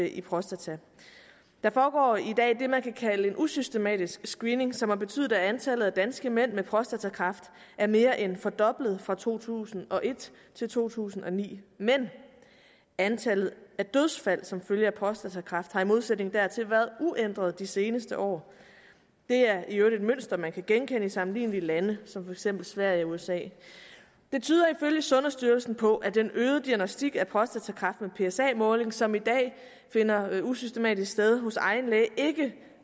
i prostata der foregår i dag det man kan kalde en usystematisk screening som har betydet at antallet af danske mænd med prostatakræft er mere end fordoblet fra to tusind og et til to tusind og ni men antallet af dødsfald som følge af prostatakræft har i modsætning hertil været uændret de seneste år det er i øvrigt et mønster man kan genkende i sammenlignelige lande som for eksempel sverige og usa det tyder ifølge sundhedsstyrelsen på at den øgede diagnostik af prostatakræft med psa måling som i dag finder usystematisk sted hos egen læge ikke